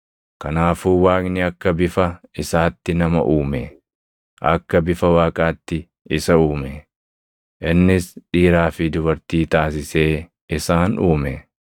Kanaafuu Waaqni akka bifa isaatti nama uume; akka bifa Waaqaatti isa uume; innis dhiiraa fi dubartii taasisee isaan uume.